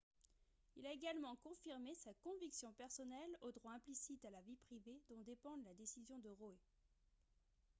il a également confirmé sa conviction personnelle au droit implicite à la vie privée dont dépend la décision de roe